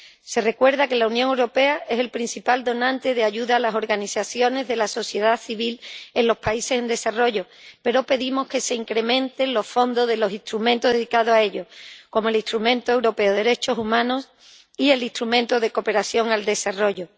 Se recuerda que la Unión Europea es el principal donante de ayuda a las organizaciones de la sociedad civil en los países en desarrollo, pero pedimos que se incrementen los fondos de los instrumentos dedicados a ello, como el instrumento europeo de derechos humanos y el instrumento de cooperación al desarrollo.